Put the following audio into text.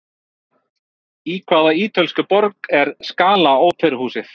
Í hvaða ítölsku borg er Scala óperuhúsið?